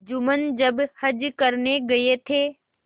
जुम्मन जब हज करने गये थे